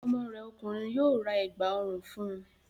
Ọmọ rẹ ọkùnrin yóò ra Ẹ̀gbá ọrùn fun